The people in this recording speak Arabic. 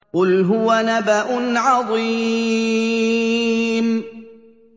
قُلْ هُوَ نَبَأٌ عَظِيمٌ